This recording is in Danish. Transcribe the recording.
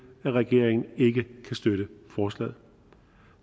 at regeringen ikke kan støtte forslaget